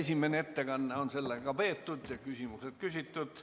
Esimene ettekanne on sellega peetud ja küsimused küsitud.